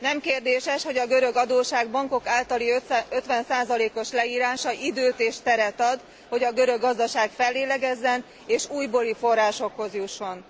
Nem kérdéses, hogy a görög adósság bankok általi 50 os leírása időt és teret ad, hogy a görög gazdaság fellélegezzen, és újbóli forrásokhoz jusson.